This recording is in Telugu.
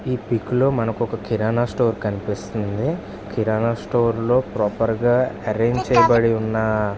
ఈ పిక్ లో ఇక్కడ మనకు కిరణం స్టోర్ కనిపిస్తుంది. కిరణం స్టోర్ లో ప్రాపర్ గా ఏరెంజ్ చేయబడి ఉన్న --